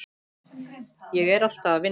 Ég er alltaf að vinna.